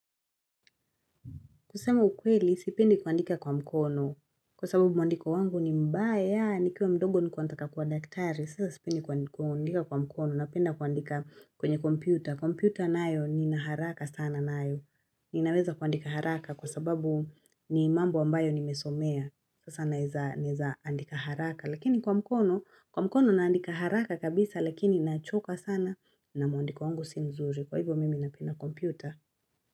Kusemu ukweli, sipendi kuandika kwa mkono. Kwa sababu mwandiko wangu ni mbaya, nikiwa mdogo nilikuwa nataka kuwa daktari. Sasa sipendi kuandika kwa mkono, napenda kuandika kwenye kompyuta. Kompyuta nayo ninaharaka sana nayo. Ninaweza kuandika haraka kwa sababu ni mambo ambayo nimesomea. Sasa naweza andika haraka. Lakini kwa mkono, kwa mkono naandika haraka kabisa, lakini nachoka sana na mwandiko wangu si mzuri. Kwa hivyo mimi napenda kompyuta.